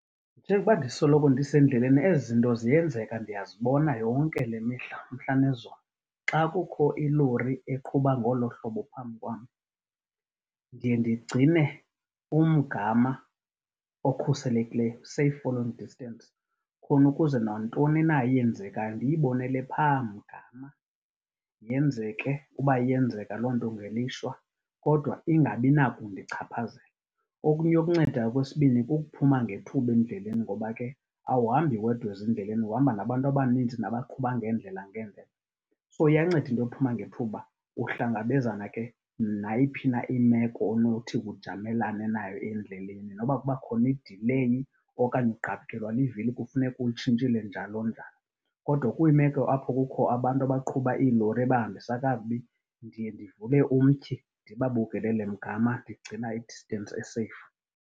Njengoba ndisokolo ndisendleleni ezi zinto ziyenzeka ndiyazibona yonke le mihla, umhla nezolo. Xa kukho ilori eqhuba ngolo hlobo phambi kwam ndiye ndigcine umgama okhuselekileyo, safe following distance, khona ukuze nantoni na eyenzekayo ndiyibonele phaa mgama, yenzeke, uba iyenzeka loo nto ngelishwa, kodwa ingabi nakundichaphazela. Okunye okuncedayo okwesibini kukuphuma ngethuba endleleni ngoba ke awuhambi wedwa ezindleleni, uhamba nabantu abanintsi nabaqhuba ngeendlela ngeendlela. So iyanceda into yophuma ngethuba, uhlangabezana ke nayiphi na imeko onothi ujamelane nayo endleleni. Noba kuba khona idileyi okanye ugqabhukelwa livili kufuneka ulitshintshile, njalo-njalo. Kodwa kwiimeko apho kukho abantu abaqhuba iilori ebahambisa kakubi ndiye ndivule umtyhi, ndibabukelele mgama, ndigcina idistensi e-safe.